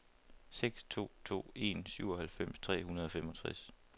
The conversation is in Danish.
seks to to en syvoghalvfems tre hundrede og femogtres